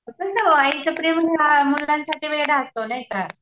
आईचं प्रेम मुलांसाठी वेडं असतो नाही का .